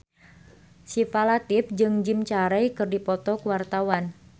Syifa Latief jeung Jim Carey keur dipoto ku wartawan